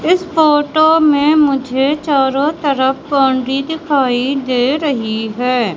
इस फोटो में मुझे चारों तरफ बाउंड्री दिखाई दे रही है।